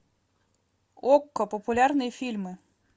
окко популярные фильмы